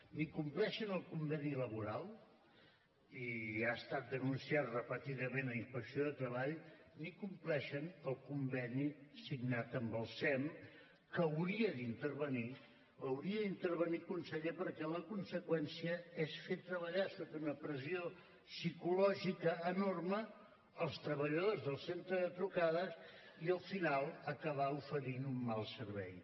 ni compleixen el conveni laboral i ja ha estat denunciat repetidament a inspecció de treball ni compleixen el conveni signat amb el sem que hauria d’intervenir hauria d’intervenir conseller perquè la conseqüència és fer treballar sota una pressió psicològica enorme els treballadors del centre de trucades i al final acabar oferint un mal servei